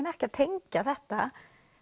ekki að tengja þetta